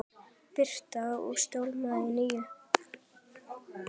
Birta: Á stólnum nýja?